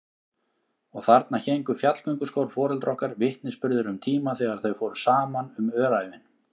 Og þarna héngu fjallgönguskór foreldra okkar, vitnisburður um tíma þegar þau fóru saman um öræfin.